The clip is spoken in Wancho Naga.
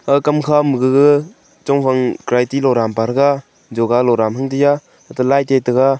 ah kam kha magaga chong vang karate loram pa tega joga lora ham diya hate lai tiya taega.